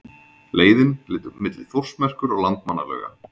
Leiðin liggur milli Þórsmerkur og Landmannalauga.